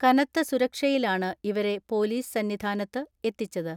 കനത്ത സുരക്ഷയിലാണ് ഇവരെ പോലീസ് സന്നിധാനത്ത് എത്തിച്ചത്.